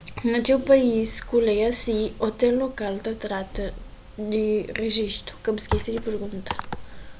na txeu país ku lei asi ôtel lokal ta trata di rejistu ka bu skese di pergunta